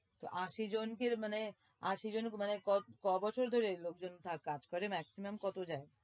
তো আশি জনকে মানে, আশি জনকে মানে ক-বছর ধরে লোকজন কাজ করে maximum কত যায়?